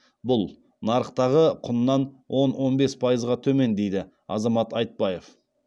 бұл нарықтағы құнынан он он бес пайызға төмен дейді азамат айтпаев